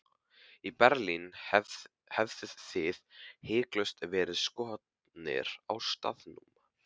Í Berlín hefðuð þið hiklaust verið skotnir á staðnum.